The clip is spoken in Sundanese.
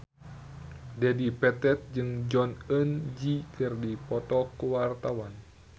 Dedi Petet jeung Jong Eun Ji keur dipoto ku wartawan